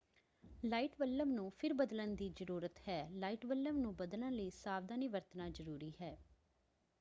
Light bulb ਨੂੰ ਫਿਰ ਬਦਲਣ ਦੀ ਜ਼ਰੂਰਤ ਹੈ। ਲਾਈਟ ਬੱਲਬ ਨੂੰ ਬਦਲਣ ਲਈ ਸਾਵਧਾਨੀ ਵਰਤਣਾ ਜਰੂਰੀ ਹੈ।